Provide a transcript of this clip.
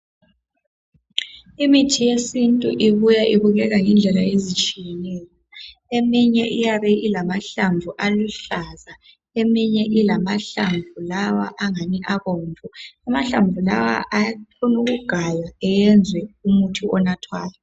Imithi yesintu ibuya ibukeka ngendlela ezitshiyeneyo. Eminye iyabe ilamahlamvu aluhlaza. Eminye ilamahlamvu lawa angani abomvu. Amahlamvu kawa, akhona ukugaywa ayenzwe imithi le enathwayo.